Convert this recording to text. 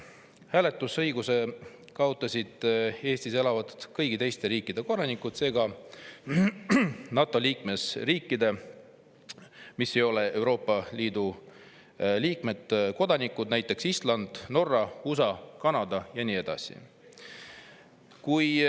Hääletusõiguse kaotasid Eestis elavad kõigi teiste riikide kodanikud, seega NATO liikmesriikide kodanikud – nende riikide, mis ei ole Euroopa Liidu liikmed, näiteks Island, Norra, USA, Kanada ja nii edasi.